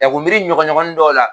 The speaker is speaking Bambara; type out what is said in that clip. K'u miiri ɲɔgɔnɲɔgɔnnin dɔw la